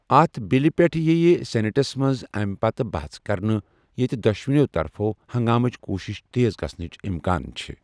اَتھ بلہِ پٮ۪ٹھ ییہِ سینیٹَس منٛز اَمہِ پتہٕ بحث کرنہٕ، ییٛتہِ دۄشوٕنی طرفَو ہنٛگامٕژ کوٗشش تیز گژھنٕچ اِمکان چھِ۔